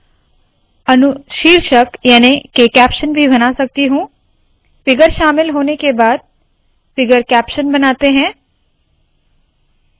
मैं अनुशीर्षक याने के कैप्शन भी बना सकती हूँ फिगर शामिल होने के बाद फिगर कैप्शन बनाते है